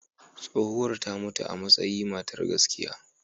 Tsohuwar ta mutu amasayi matar gaskiya.